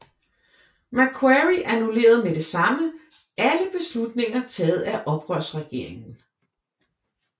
Macquarie annullerede med det samme alle beslutninger taget af oprørsregeringen